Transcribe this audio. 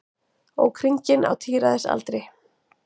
Ók hringinn á tíræðisaldri